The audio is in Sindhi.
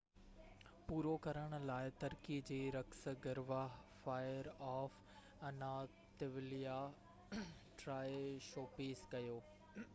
پورو ڪرڻ لاءِ ترڪي جي رقص گروه fire of Anatolia Troy show پيش ڪيو